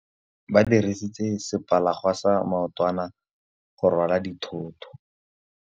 Ba dirisitse sepalangwasa maotwana go rwala dithôtô.